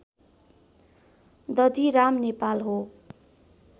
दधिराम नेपाल हो